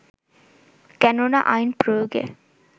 কেননা আইন প্রয়োগে